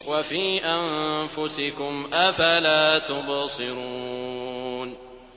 وَفِي أَنفُسِكُمْ ۚ أَفَلَا تُبْصِرُونَ